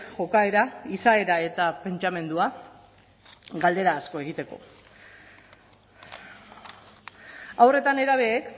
jokaera izaera eta pentsamendua galdera asko egiteko haur eta nerabeek